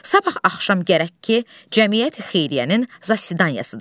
Sabah axşam gərək ki, cəmiyyət xeyriyyənin zasidanyasıdır.